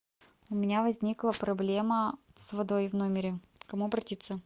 у меня возникла проблема с водой в номере к кому обратиться